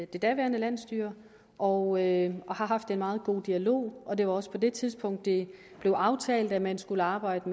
det daværende landsstyre og har haft en meget god dialog og det var også på det tidspunkt det blev aftalt at man skulle arbejde